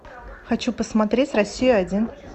хочу посмотреть россию один